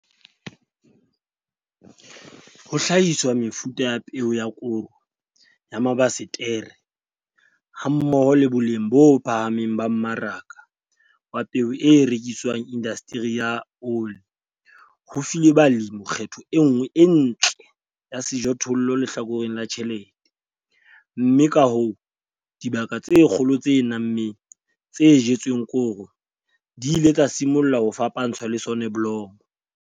Ho hlahiswa ha mefuta ya peo ya koro ya mabasetere hammoho le boleng bo phahameng ba mmaraka wa peo e rekisetswang indasteri ya ole ho file balemi kgetho e nngwe e ntle ya sejothollo lehlakoreng la tjhelete, mme ka hoo, dibaka tse kgolo tse nammeng, tse jetsweng koro di ile tsa simolla ho fapantshwa le soneblomo.